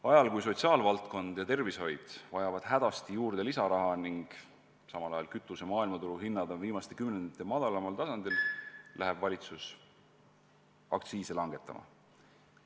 Ajal, kui sotsiaalvaldkond ja tervishoid vajavad hädasti juurde lisaraha ning kütuse maailmaturu hinnad on viimaste kümnendite madalaimal tasemel, läheb valitsus aktsiise langetama.